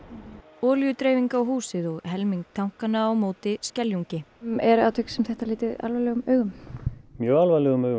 olíudreifing á húsið og helming tankanna á móti Skeljungi er atvik sem þetta litið alvarlegum augum mjög alvarlegum augum